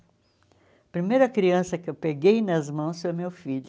A primeira criança que eu peguei nas mãos foi o meu filho.